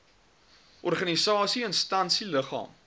organisasie instansie liggaam